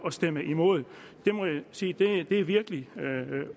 at stemme imod det må jeg sige virkelig